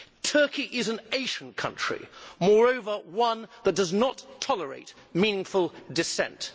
Turkey is an Asian country, moreover one that does not tolerate meaningful dissent.